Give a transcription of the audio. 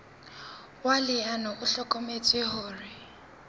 wa leano o hlokometse hore